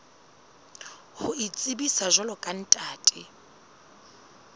ho itsebisa jwalo ka ntate